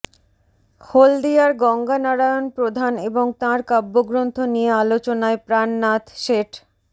হলদিয়ার গঙ্গানারায়ণ প্রধান এবং তাঁর কাব্যগ্রন্থ নিয়ে আলোচনায় প্রাণনাথ শেঠ